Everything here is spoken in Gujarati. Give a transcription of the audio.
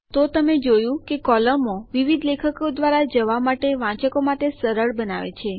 તો તમે જોયું કે કોલમો વિવિધ લેખો દ્વારા જવા માટે વાંચકો માટે સરળ બનાવે છે